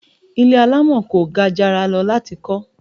Ilé alamọ kò gajara lọ láti kọ